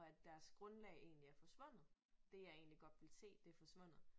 Og at deres grundlag egentlig er forsvundet. Det jeg egentlig godt ville se det forsvundet